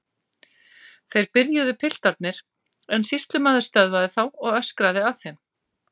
Þeir byrjuðu piltarnir en sýslumaður stöðvaði þá og öskraði að þeim